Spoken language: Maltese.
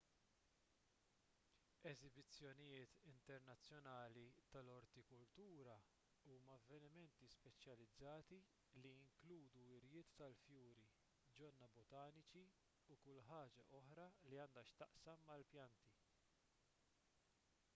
eżibizzjonijiet internazzjonali tal-ortikultura huma avvenimenti speċjalizzati li jinkludu wirjiet tal-fjuri ġonna botaniċi u kull ħaġa oħra li għandha x'taqsam mal-pjanti